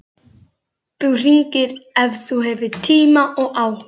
Þú hringir ef þú hefur tíma og áhuga.